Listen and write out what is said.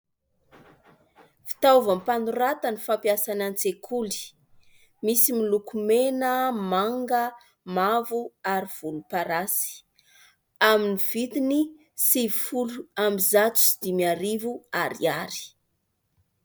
Fitaovam-panoratana fampiasa any an-tsekoly. Misy miloko mena, manga, mavo ary volomparasy. Amin'ny vidiny sivy folo amby zato sy dimy arivo ariary.